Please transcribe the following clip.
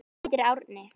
Hann heitir Árni.